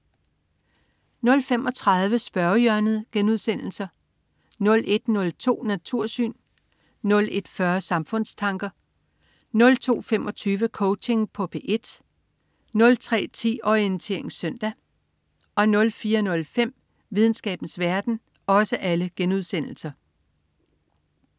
00.35 Spørgehjørnet* 01.02 Natursyn* 01.40 Samfundstanker* 02.25 Coaching på P1* 03.10 Orientering søndag* 04.05 Videnskabens verden*